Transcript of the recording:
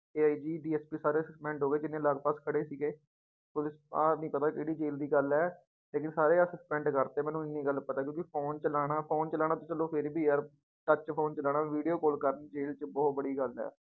AIGDSP ਸਾਰੇ suspend ਹੋ ਗਏ ਜਿੰਨੇ ਲਗਪਗ ਖੜੇ ਸੀਗੇ ਪੁਲਿਸ ਆਹ ਨੀ ਪਤਾ ਕਿਹੜੀ ਜੇਲ ਦੀ ਗੱਲ ਹੈ ਲੇਕਿੰਨ ਸਾਰੇ ਆਹ suspend ਕਰ ਦਿੱਤੇ ਮੈਨੂੰ ਇੰਨੀ ਗੱਲ ਪਤਾ ਹੈ ਕਿਉਂਕਿ phone ਚਲਾਉਣਾ phone ਚਲਾਉਣਾ ਤੇ ਚਲੋ ਫਿਰ ਵੀ ਯਾਰ touch phone ਚਲਾਉਣਾ video call ਕਰਨੀ ਜ਼ੇਲ ਚੋਂ ਬਹੁਤ ਬੜੀ ਗੱਲ ਹੈ।